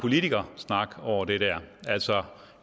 politikersnak over det der altså